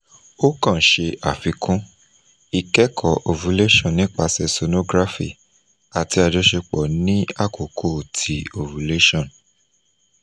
o kan ṣe afikun - ikẹkọ ovulation nipasẹ sonography ati ajọṣepọ ni akoko ti ovulation